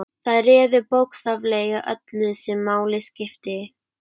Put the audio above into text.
Þær réðu bókstaflega öllu sem máli skipti.